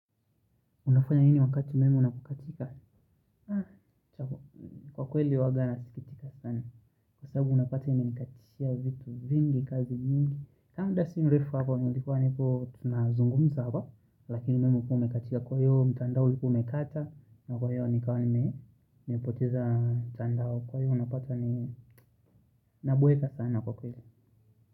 Unafanya nini wakati umeme unapokatika? Kwa kweli huaga nasikitika sana. Kwa sababu unapata imenikatishia vitu vingi, kazi nyingi. Kaa muda si mrefu hapo, ningekua nipo tunazungumza hapa. Lakini memu kumekachika kwa yu mtandao liku umekata. Na kwa yu nikawani mepoteza mtandao. Kwa yu unapata ni nabweka sana kwa kweli.